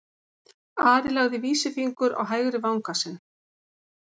Ari lagði vísifingur á hægri vanga sinn.